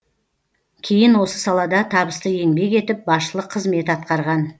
кейін осы салада табысты еңбек етіп басшылық қызмет атқарған